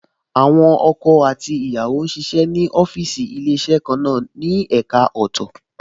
Àwọn ọkọ àti ìyàwó ń ṣiṣẹ́ ní ọ́fíìsì Ilé-iṣẹ́ kan náà ní ẹ̀ka ọ̀tọ̀ọ̀tọ̀